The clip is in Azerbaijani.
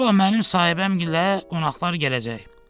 Sabah mənim sahibəmlə qonaqlar gələcək.